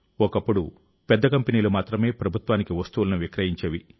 ఒకప్పుడు పెద్ద కంపెనీలు మాత్రమే ప్రభుత్వానికి వస్తువులను విక్రయించేవి